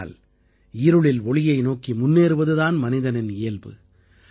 ஆனால் இருளில் ஒளியை நோக்கி முன்னேறுவது தான் மனிதனின் இயல்பு